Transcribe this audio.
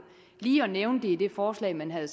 lige at nævne det i det forslag man har